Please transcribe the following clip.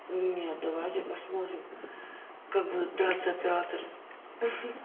нет давайте посмотрим как будут драться операторы